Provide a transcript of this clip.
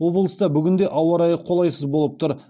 облыста бүгін де ауа райы қолайсыз болып тұр